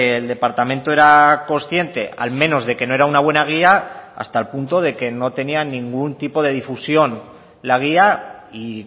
el departamento era consciente al menos de que no era una buena guía hasta el punto de que no tenía ningún tipo de difusión la guía y